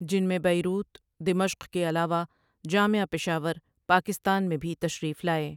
جن میں بیروت، دمشق کے علاوہ، جامعہ پشاور، پاکستان میں بھی تشریف لائے ۔